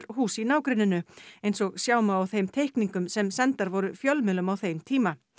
hús í nágrenninu eins og sjá má á þeim teikningum sem sendar voru fjölmiðlum á þeim tíma